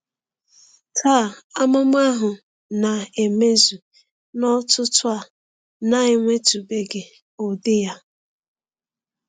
Taa, amụma ahụ na-emezu n’ọ̀tụ̀tụ̀ a na-enwetụbeghị ụdị ya.